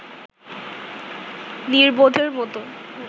নির্বোধের মতো